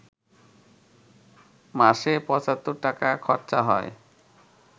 মাসে পঁচাত্তর টাকা খরচা হয়